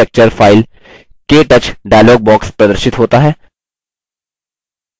select training lecture filek touch dialog box प्रदर्शित होता है